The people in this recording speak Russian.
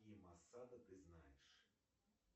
какие осада ты знаешь